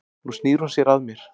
Nú snýr hún sér að mér.